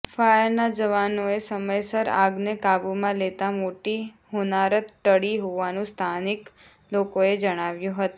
ફાયરના જવાનોએ સમયસર આગને કાબૂમાં લેતા મોટી હોનારત ટળી હોવાનું સ્થાનિક લોકોએ જણાવ્યું હતું